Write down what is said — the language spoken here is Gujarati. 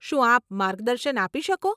શું આપ માર્ગદર્શન આપી શકો?